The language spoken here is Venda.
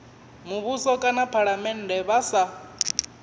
muvhuso kana phalamennde vha sa